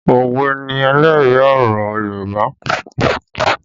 Òwe ni ẹlẹ́rìí ọ̀rọ̀ Yorùbá